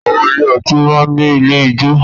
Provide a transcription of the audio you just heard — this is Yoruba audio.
Àwọn ilé ọtí máa ń ní ilé ìjo